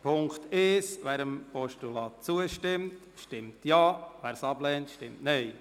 Zu Punkt 1: Wer dem Postulat zustimmt, stimmt Ja, wer dies ablehnt, stimmt Nein.